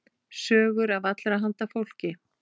Sögur af allra handa fólki.